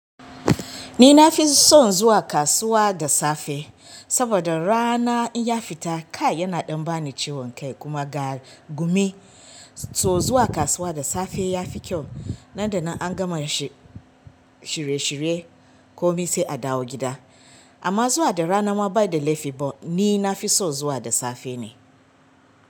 Ni na fi son zuwa kasuwa da safe saboda rana in ya fita kai yana ɗan ba ni ciwon kai kuma ga gumi. So zuwa kasuwa da safe ya fi kyau nan da nan an gama shi shirye shirye komi sai a dawo gida. Amma zuwa da rana ma bai da laifi ba ni na fi so zuwa da safe ne.